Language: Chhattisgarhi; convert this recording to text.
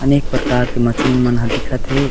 अनेक प्रकार के मशीन मन ह दिखत हे।